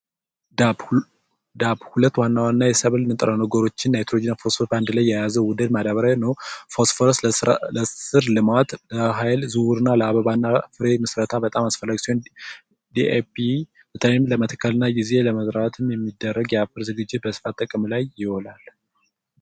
ዳፕ ሁለት ዋና ዋና ንጥረ ነገሮችን የያዘ የናይትሮጅንና ፎስፎረስ ንጥረ ነገር የያዘው ውህድ ማዳበሪያ ነው ለስር ልማት እና ለምግብ ዝውውር እንዲሁም ለፍሬ ምስረታ በጣም ወሳኝ ሲሆን የተለያዩ ዘሮችን ለመዝራት እና ለማዘጋጀት የምንጠቀምበት ማዳበሪያ ነው።